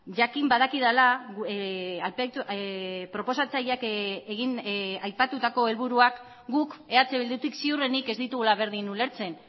jakin badakidala proposatzaileak aipatutako helburuak guk eh bildutik ziurrenik ez ditugula berdin ulertzen